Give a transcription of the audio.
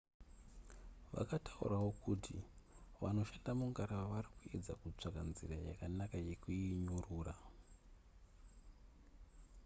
vakataurawo kuti vanoshanda mungarava vari kuedza kutsvaga nzira yakanaka yekuinyurura